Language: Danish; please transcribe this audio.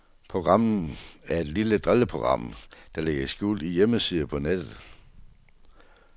Programmet er et lille drilleprogram, der ligger skjult i hjemmesider på nettet.